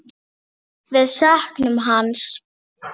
Við söknum hans.